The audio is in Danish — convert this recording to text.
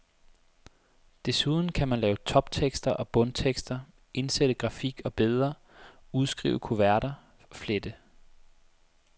Desuden kan man lave toptekster og bundtekster, indsætte grafik og billeder, udskrive kuverter, flette.